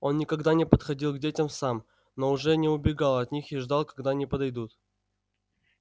он никогда не подходил к детям сам но уже не убегал от них и ждал когда они подойдут